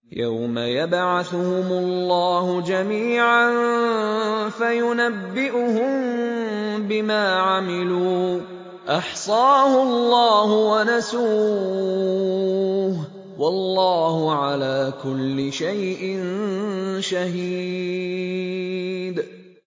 يَوْمَ يَبْعَثُهُمُ اللَّهُ جَمِيعًا فَيُنَبِّئُهُم بِمَا عَمِلُوا ۚ أَحْصَاهُ اللَّهُ وَنَسُوهُ ۚ وَاللَّهُ عَلَىٰ كُلِّ شَيْءٍ شَهِيدٌ